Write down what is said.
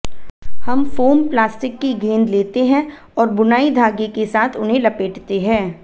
हम foam plastic की गेंद लेते हैं और बुनाई धागे के साथ उन्हें लपेटते हैं